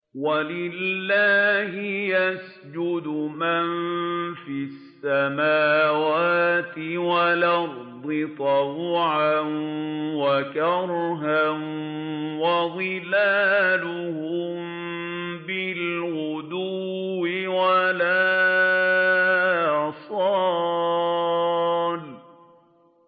وَلِلَّهِ يَسْجُدُ مَن فِي السَّمَاوَاتِ وَالْأَرْضِ طَوْعًا وَكَرْهًا وَظِلَالُهُم بِالْغُدُوِّ وَالْآصَالِ ۩